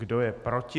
Kdo je proti?